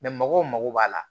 mɔgɔw mago b'a la